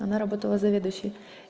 она работала заведующей